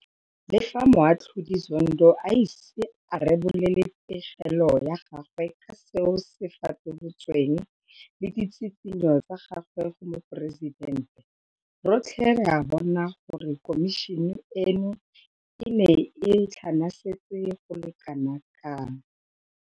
Le fa Moatlhodi Zondo a ise a rebole pegelo ya gagwe ka seo se fatolotsweng le ditshitshinyo tsa gagwe go Moporesitente, rotlhe re a bona gore khomišene eno e ne e tlhanasetse go le kana kang.